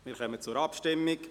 Wir kommen zur Abstimmung.